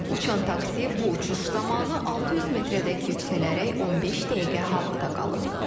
Uçan taksi bu uçuş zamanı 600 metrədək yüksələrək 15 dəqiqə havada qalıb.